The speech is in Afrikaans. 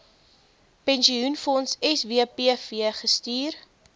pensioenfonds swpf gestuur